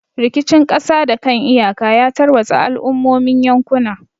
Rikicin kasa da kan iyaka ya tarwatsa al'ummomin yankuna.